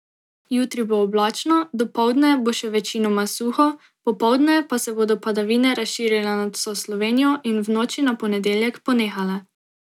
Jutri bo oblačno, dopoldne bo še večinoma suho, popoldne pa se bodo padavine razširile nad vso Slovenijo in v noči na ponedeljek ponehale.